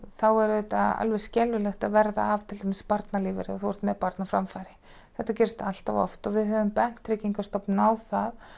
þá er auðvitað skelfilegt að verða þá af barnalífeyri ef þú ert með barn á framfæri þetta gerist allt of oft og við höfum bent Tryggingastofnun á það